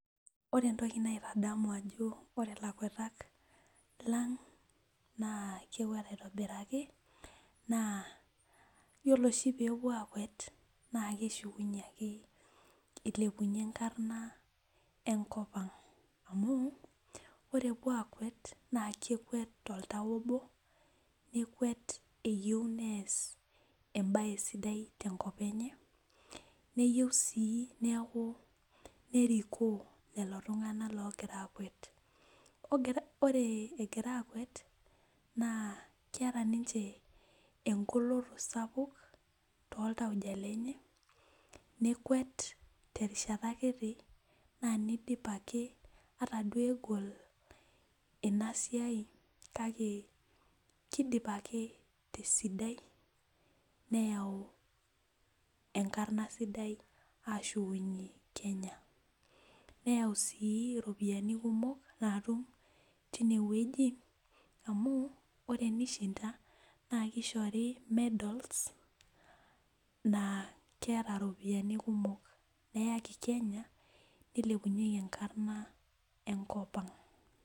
Ore entoki naitadamu ajo ore lakwetak lang naa kekwet aitobiraki naa yiolo oshi pe epuo akwet naa keshukunye ake eilepunyie enkarna enkopang ,amu ore epuo aakwet naa kekwet toltau obo ,nekwet eyieu nees embae sidai tenkop enye neyieu sii nerikoo lelo tunganak oogira aakwet ,ore egira aakwet keeta ninche engoloto sapuk tooltauja lenye. nekwet terishata kiti naaa nidip ake ata duo egol ina siai kake kaidim ake tesidai nayau enkarna ashukunye kenya ,nayau sii ropiyiani kumok tineweji amu tenishinda naa kishori medals naa keeta ropiyiani kumok neyaki kenya nilepunyeki enkarna enkopang.